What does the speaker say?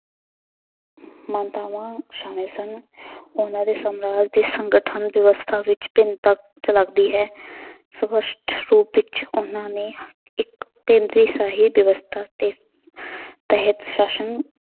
ਮਾਨਤਾਵਾਂ ਸਾਮਲ ਸਨ ਉਹਨਾਂ ਦੇ ਸਮਰਾਜ ਦੇ ਸੰਗਠਨ ਵਿਵਸਥਾ ਵਿੱਚ ਭਿੰਨਤਾ ਝਲਕਦੀ ਹੈ ਸਪਸ਼ਟ ਰੂਪ ਵਿੱਚ ਉਹਨਾਂ ਨੇ ਇੱਕ ਕੇਂਦਰੀ ਸ਼ਾਹੀ ਵਿਵਸਥਾ ਤੇ ਤਹਿਤ ਸ਼ਾਸ਼ਨ